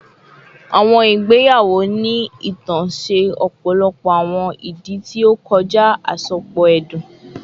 Awọn igbeyawo ni itan ṣe ọpọlọpọ awọn idi ti o kọja asopọ ẹdun